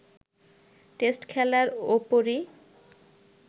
test খেলার ওপরই